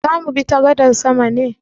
Zamu bi ta gadar sama ne?